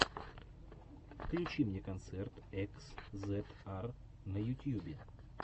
включи мне концерт экс зет ар на ютьюбе